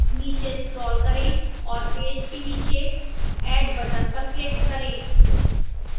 नीचे scroll करें और पेज के नीचे add button पर click करें